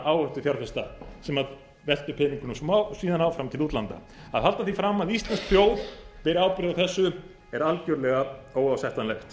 áhættufjárfesta sem veltu peningunum síðan áfram til útlanda að halda því fram að íslensk þjóð beri ábyrgð á þessu er algjörlega óásættanlegt